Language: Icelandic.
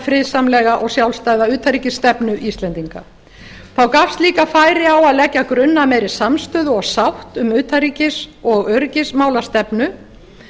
friðsamlega og sjálfstæða utanríkisstefnu íslendinga þá gafst líka færi á að leggja grunn að meiri samstöðu og sátt um utanríkis og öryggismálastefnu